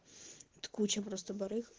вот куча просто барыг